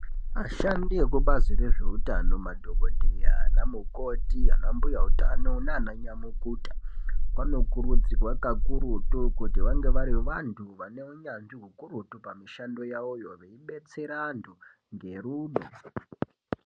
Ashandi ekubazi rezveutano madhokodheya anamukoti anambuya utano nananyamukuta vanokurudzirwa kakurutu kuti vange vari vanhu vane hunyanzi ukurutu pamishandoyawoyo veibetsera anhu ngerudo